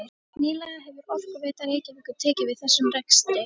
Nýlega hefur Orkuveita Reykjavíkur tekið við þessum rekstri.